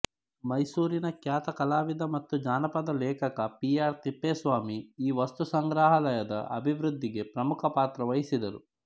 ಮೈಸೂರಿನ ಖ್ಯಾತ ಕಲಾವಿದ ಮತ್ತು ಜಾನಪದ ಲೇಖಕ ಪಿ ಆರ್ ತಿಪ್ಪೇಸ್ವಾಮಿ ಈ ವಸ್ತುಸಂಗ್ರಹಾಲಯದ ಅಭಿವೃದ್ಧಿಗೆ ಪ್ರಮುಖ ಪಾತ್ರ ವಹಿಸಿದ್ದರು